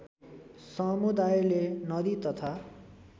समुदायले नदी तथा